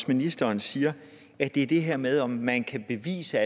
ministeren siger at det er det her med om man kan bevise